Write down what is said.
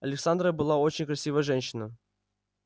александра была очень красивая женщина